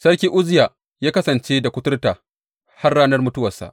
Sarki Uzziya ya kasance da kuturta har ranar mutuwarsa.